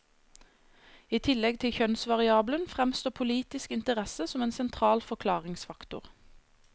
I tillegg til kjønnsvariabelen, fremstår politisk interesse som en sentral forklaringsfaktor.